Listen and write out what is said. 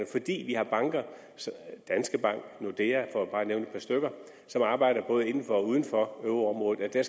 fordi vi har banker danske bank og nordea for bare at nævne et par stykker som arbejder både inden for og uden for euroområdet er